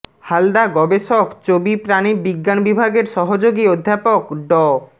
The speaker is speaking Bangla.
হালদা গবেষক চবি প্রানী বিজ্ঞান বিভাগের সহযোগী অধ্যাপক ড